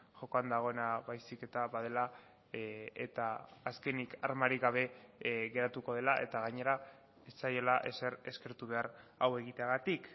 jokoan dagoena baizik eta badela eta azkenik armarik gabe geratuko dela eta gainera ez zaiela ezer eskertu behar hau egiteagatik